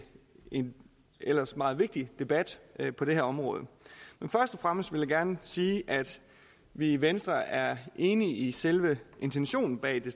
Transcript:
en ellers meget vigtig debat på det her område først og fremmest vil jeg gerne sige at vi i venstre er enige i selve intentionen bag det